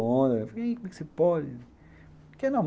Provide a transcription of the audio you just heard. Fiquei aí, como é que se pode?